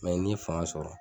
ni ye faga sɔrɔ.